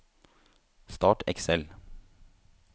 Start Excel